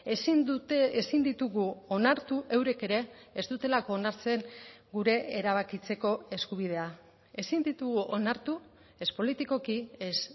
ezin dute ezin ditugu onartu eurek ere ez dutelako onartzen gure erabakitzeko eskubidea ezin ditugu onartu ez politikoki ez